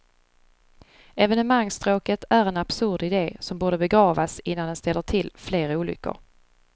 Evenemangsstråket är en absurd idé som borde begravas innan den ställer till fler olyckor.